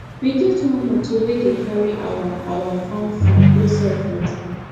we get one motor wey dey carry our our farm food go sell for town